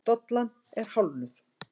Dollan er hálfnuð.